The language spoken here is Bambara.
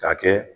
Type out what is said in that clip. K'a kɛ